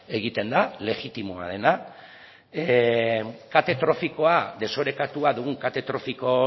egiten da legitimoa dena kate trofikoa desorekatua dugun kate trofiko